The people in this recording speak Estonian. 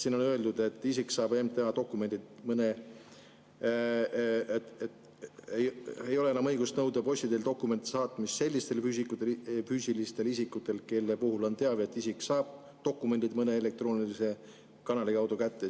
Siin on öeldud, et kui saab MTA dokumendi, siis tal ei ole enam õigust nõuda posti teel dokumendi saatmist, kui tema puhul on teave, et ta saab dokumendid mõne elektroonilise kanali kaudu kätte.